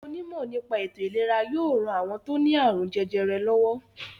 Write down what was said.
Àwọn onímọ̀ nípa ètò-ìlera yóò ran àwọn tó ní àrùn jẹjẹrẹ lọ́wọ́.